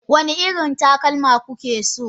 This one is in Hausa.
wane irin takalma kuke so?